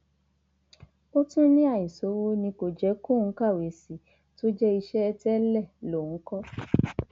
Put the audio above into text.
ó tún ní àìṣòwò ni kò jẹ kóun kàwé sí i tó jẹ iṣẹ tẹlẹ lòun kọ